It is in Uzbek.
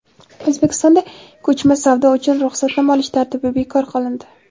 O‘zbekistonda ko‘chma savdo uchun ruxsatnoma olish tartibi bekor qilindi.